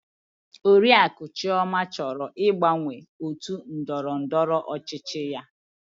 Oriakụ Chioma chọrọ ịgbanwe otu ndọrọ ndọrọ ọchịchị ya.